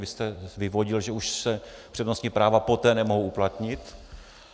Vy jste vyvodil, že už se přednostní práva poté nemohou uplatnit.